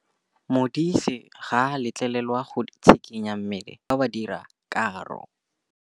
Modise ga a letlelelwa go tshikinya mmele wa gagwe fa ba dira karô.